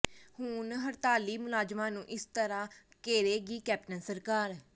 ਹੁਣ ਹੜਤਾਲੀ ਮੁਲਾਜ਼ਮਾਂ ਨੂੰ ਇਸ ਤਰ੍ਹਾਂ ਘੇਰੇਗੀ ਕੈਪਟਨ ਸਰਕਾਰ